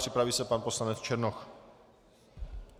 Připraví se pan poslanec Černoch.